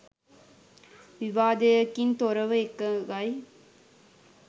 විවාදයකින් තොරව එකඟයි